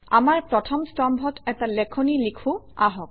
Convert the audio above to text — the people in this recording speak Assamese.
আমাৰ প্ৰথম স্তম্ভত এটা লেখনি লিখোঁ আহক